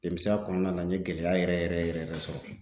Denmisɛnya kɔnɔna na n ye gɛlɛya yɛrɛ yɛrɛ yɛrɛ yɛrɛ sɔrɔ